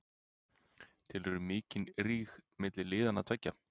Telurðu mikinn ríg milli liðanna tveggja?